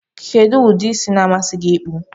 Ikedụ udi isi na adi gi mma ikpụ.